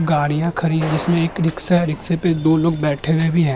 गाड़ियां खड़ी है जिसमें एक रिक्शा है। रिक्शे पे दो लोग बैठे हुए भी है।